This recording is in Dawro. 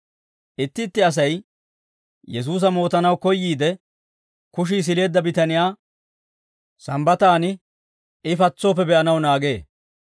Itti itti Asay Yesuusa mootanaw koyyiide, kushii sileedda bitaniyaa Sambbataan I patsooppe be'anaw naagee.